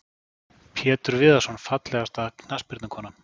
Pétur Viðarsson Fallegasta knattspyrnukonan?